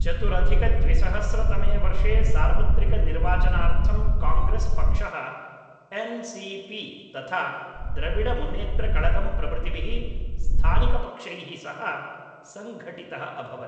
चतुरधिकद्विसहस्रतमे वर्षे सार्वत्रिकनिर्वाचनार्थं काङ्ग्रेस् पक्षः एन् सी पी तथा द्रविडमुन्नेत्रकळगम् प्रभृतिभिः स्थानिकपक्षैः सह सङ्घटितः अभवत्